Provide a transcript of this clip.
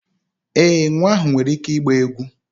Ee, nwa ahụ nwere ike ịgba egwu